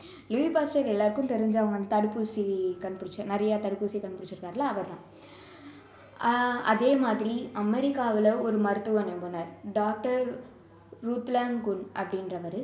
Louis Pasteur எல்லாருக்கும் தெரிஞ்சவங்க தடுப்பூசி கண்டுபிடிச்ச நிறைய தடுப்பூசி கண்டுபிடிச்சிருக்காருல அவர் தான் அஹ் அதே மாதிரி அமெரிக்காவுல ஒரு மருத்துவ நிபுணர் doctor ரூத் லாங்குன் அப்படின்றவரு